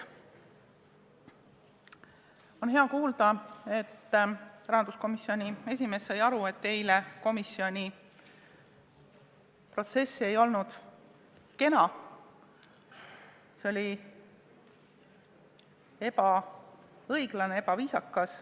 On hea kuulda, et rahanduskomisjoni esimees sai aru, et eile komisjonis toimunud protsess ei olnud kena, see oli ebaõiglane ja ebaviisakas.